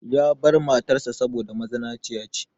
Ya bar matar sa saboda mazinaciya ce.